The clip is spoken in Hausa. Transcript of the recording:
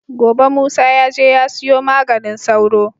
Gobe musa yaje ya siyo maganin sauro